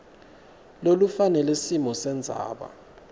lolufanele simo sendzaba